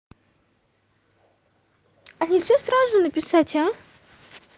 а нельзя сразу написать а